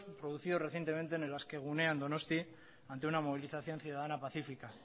producidos en el askegunea en donosti ante una movilización ciudadana pacífica